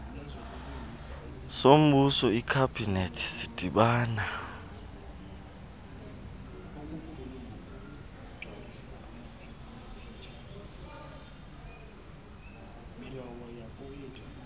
sombuso ikhabhinethi sidibana